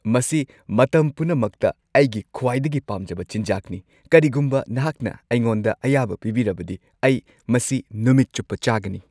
ꯃꯁꯤ ꯃꯇꯝ ꯄꯨꯝꯅꯃꯛꯇ ꯑꯩꯒꯤ ꯈ꯭ꯋꯥꯏꯗꯒꯤ ꯄꯥꯝꯖꯕ ꯆꯤꯟꯖꯥꯛꯅꯤ, ꯀꯔꯤꯒꯨꯝꯕ ꯅꯍꯥꯛꯅ ꯑꯩꯉꯣꯟꯗ ꯑꯌꯥꯕ ꯄꯤꯕꯤꯔꯕꯗꯤ, ꯑꯩ ꯃꯁꯤ ꯅꯨꯃꯤꯠ ꯆꯨꯞꯄ ꯆꯥꯒꯅꯤ꯫